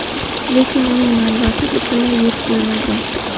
Lekin uning manbasi butunlay yo‘q bo‘lmagan.